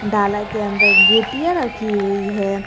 ढाला के अंदर गुटिया रखी हुई है।